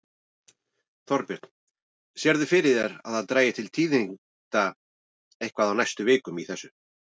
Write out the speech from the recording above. Þorbjörn: Sérðu fyrir þér að það dragi til tíðinda eitthvað á næstu vikum í þessu?